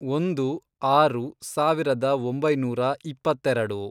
ಒಂದು, ಆರು, ಸಾವಿರದ ಒಂಬೈನೂರ ಇಪ್ಪತ್ತೆರೆಡು